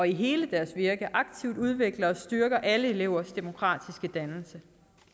i hele deres virke aktivt udvikler og styrker alle elevers demokratiske dannelse